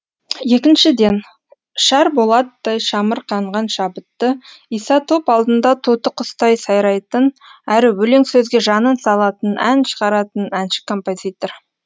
екіншіден шар болаттай шамырқанған шабытты иса топ алдында тоты құстай сайрайтын әрі өлең сөзге жанын салатын ән шығаратын әнші композитор